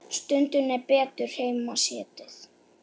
Stundum er betur heima setið.